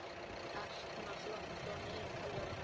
Etna, slökktu á niðurteljaranum.